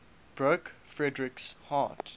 broke frederick's heart